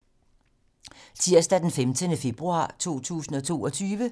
Tirsdag d. 15. februar 2022